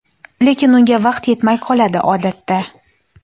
lekin unga vaqt yetmay qoladi odatda.